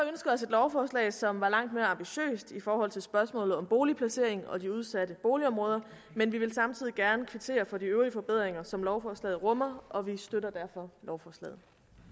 lovforslag som var langt mere ambitiøst i forhold til spørgsmålet om boligplacering og de udsatte boligområder men vi vil samtidig gerne kvittere for de øvrige forbedringer som lovforslaget rummer og vi støtter derfor lovforslaget